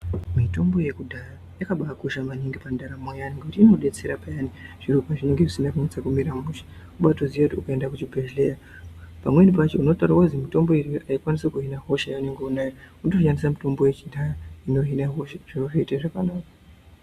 Mitombo yekudhaya yakabaa kosha pandaramo yemunhu kuti inodetsera payani zviro pazvinenge zvisina kunyatso kumira mushe unobaoto ziva kuti ukaenda kuzvibhedhlera pamweni pacho unotaurirwa kuzi mutombo uyi haukwanisi kuhina hosha yaunayo woto shandisa mutombo yekudhaya inohina hosha zviro zvoite zvakanaka.